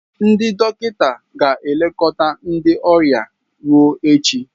Ndị dọkịta ga-elekọta ndị ọrịa ruo echi.